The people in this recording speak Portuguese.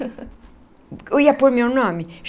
Eu ia por meu nome.